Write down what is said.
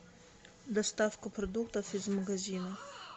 доставка продуктов из магазина